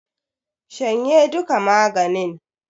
Shanye duka maganin!